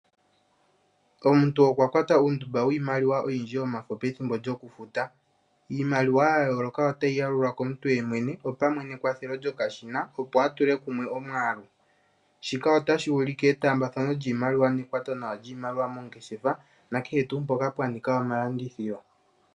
Omuntu okwa kwata iimaliwa oyindji yomafo pethimbo lyoku futa . Iimaliwa ya yooloka otayi yalulwa komuntu yemwene opamwe nekwathelo lyokashina. Opo atule kumwe omwaalu shika otashi ulike etaambathano lyiimaliwa nenge ekwato nawa lyiimaliwa moongeshefa na kehe tuu mpoka pwa nika omalandithilo.